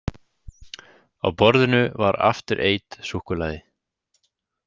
Á borðinu var After Eight súkkulaði.